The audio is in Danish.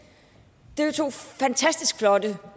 er jo to fantastisk flotte